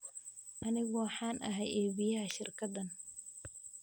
Anigu waxaan ahay iibiyaha shirkaddan.